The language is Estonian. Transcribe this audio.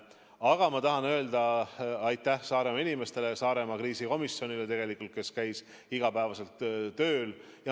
Aga ma tahan öelda aitäh Saaremaa inimestele, Saaremaa kriisikomisjonile, kes käis iga päev tööl.